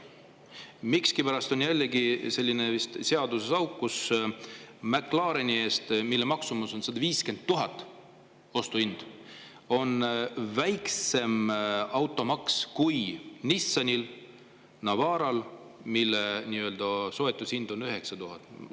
Miskipärast on seaduses vist selline auk, et McLareni eest, mille maksumus, ostuhind on 150 000 eurot, on väiksem automaks kui Nissan Navaral, mille soetushind on 9000 eurot.